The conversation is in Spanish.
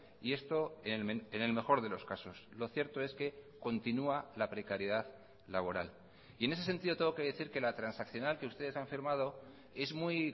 y esto en el mejor de los casos lo cierto es que continua la precariedad laboral y en ese sentido tengo que decir que la transaccional que ustedes han firmado es muy